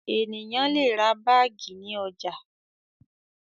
Ènìyàn le ra báágì ní ọjà.